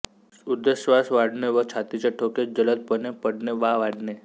उद्दश्वास वाढणे व छातीचे ठोके जलद पणे पडणे वा वाढणे